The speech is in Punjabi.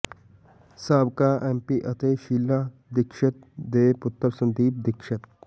ਸਾਬਕਾ ਐੱਮਪੀ ਅਤੇ ਸ਼ੀਲਾ ਦੀਕਸ਼ਿਤ ਦੇ ਪੁੱਤਰ ਸੰਦੀਪ ਦੀਕਸ਼ਿਤ